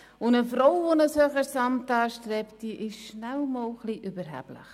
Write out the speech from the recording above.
Eine Frau, die ein höheres Amt anstrebt, ist schnell einmal überheblich.